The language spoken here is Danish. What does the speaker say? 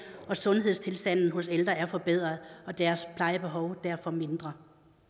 og at sundhedstilstanden hos ældre er forbedret og deres plejebehov derfor mindre